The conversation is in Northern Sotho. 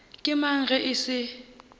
ke mang ge e se